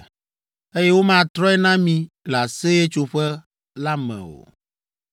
eye womatrɔe na mí le Aseyetsoƒe la me o.”